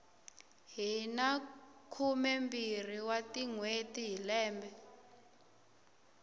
hina khumembirhi wa tinhweti hi lembe